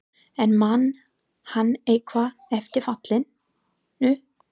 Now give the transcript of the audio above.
En man hann eitthvað eftir fallinu?